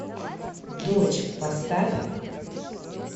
дочь поставь